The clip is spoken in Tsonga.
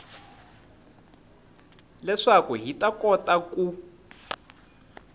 leswaku hi ta kota ku